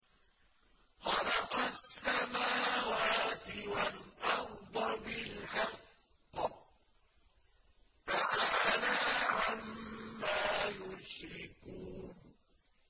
خَلَقَ السَّمَاوَاتِ وَالْأَرْضَ بِالْحَقِّ ۚ تَعَالَىٰ عَمَّا يُشْرِكُونَ